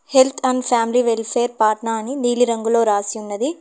Health and family welfare Patna అని నీలిరంగులో రాసినది.